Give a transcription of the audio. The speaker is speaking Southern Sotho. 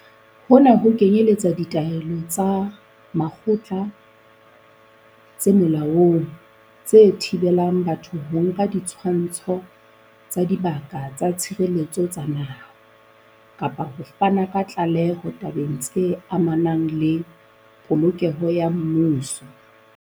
Hona ho kenyeletsa ditaelo tsa makgotla tse molaong tse thibelang batho ho nka ditshwantsho tsa Dibaka tsa Tshireletso tsa Naha, kapa ho fana ka tlaleho tabeng tse amanang le polokeho ya mmuso.